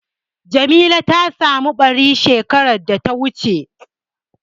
Jamila ta samu ɓari shekar da ta wuce.